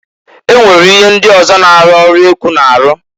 E nwere ihe ndị ọzọ na-arụ ọrụ ekwu n'arụ.